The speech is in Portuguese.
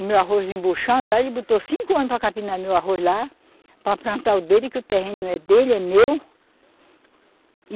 O meu arroz embuchando, aí ele botou cinco homens para capinar meu arroz lá, para plantar o dele, que o terreno não é dele, é meu.